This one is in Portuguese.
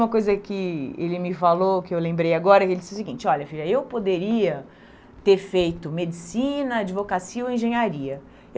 Uma coisa que ele me falou, que eu lembrei agora, ele disse o seguinte, olha filha, eu poderia ter feito medicina, advocacia ou engenharia.